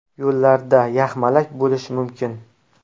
Yo‘llarda yaxmalak bo‘lishi mumkin.